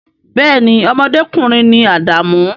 Bee ni, ọmọdékùnrin ni Adamu